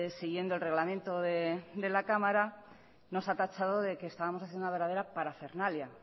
siguiendo el reglamente de la cámara nos ha tachado de que estábamos haciendo una verdadera parafernalia